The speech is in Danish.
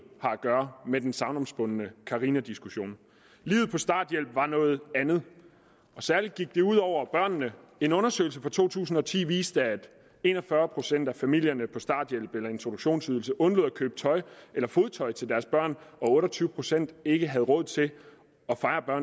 har at gøre med den sagnomspundne carinadiskussion livet på starthjælp var noget andet særlig gik det ud over børnene en undersøgelse fra to tusind og ti viste at en og fyrre procent af familierne på starthjælp eller introduktionsydelse undlod at købe tøj eller fodtøj til deres børn og otte og tyve procent ikke råd til at fejre